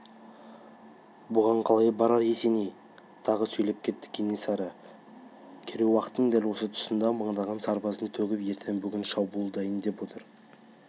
бұған қалай барар есеней тағы сөйлеп кетті кенесары керей-уақтың дәл өкпе тұсына мыңдаған сарбазын төгіп ертең-бүгін шабуылдайын деп отыр